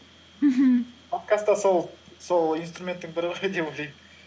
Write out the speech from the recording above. мхм подкаст та сол инструменттің бірі ғой деп ойлаймын